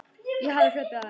Ég hafði hlaupið á vegg.